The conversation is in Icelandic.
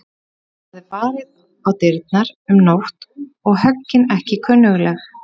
Það er barið á dyrnar um nótt og höggin ekki kunnugleg.